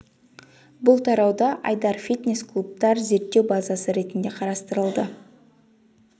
бұл тарауда айдар фитнес клубтар зерттеу базасы ретінде қарастырылды